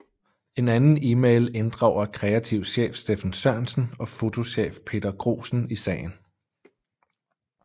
En anden email inddrager kreativ chef Steffen Sørensen og fotochef Peter Grosen i sagen